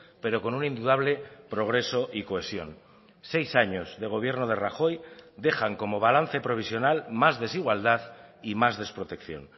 pero con un indudable progreso y cohesión seis años de gobierno de rajoy dejan como balance provisional más desigualdad y más desprotección